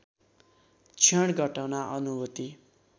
क्षण घटना अनुभूति